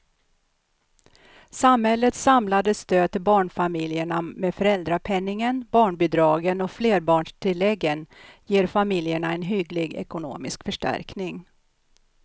Samhällets samlade stöd till barnfamiljerna med föräldrapenningen, barnbidragen och flerbarnstilläggen ger familjerna en hygglig ekonomisk förstärkning.